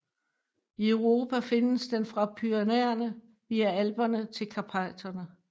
I Europa findes den fra Pyrenæerne via Alperne til Karpaterne